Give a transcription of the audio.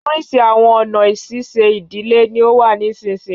Oríṣi awọn ọna ṣiṣe idile ni ó wà nisinyi